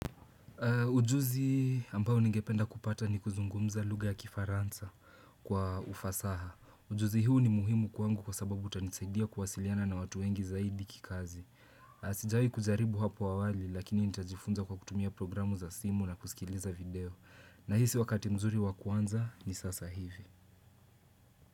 Ujuzi hii ambao ningependa kupata ni kuzungumza lugha ya kifaransa kwa ufasaha. Ujuzi hii ni muhimu kwangu kwa sababu itanisaidia kuwasiliana na watu wengi zaidi kikazi. Sijawahi kujaribu hapo awali lakini nitajifunza kwa kutumia programu za simu na kusikiliza video. Nahisi wakati mzuri wa kuanza ni sasa hivi.